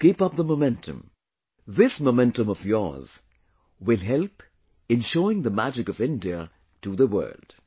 So keep up the momentum... this momentum of yours will help in showing the magic of India to the world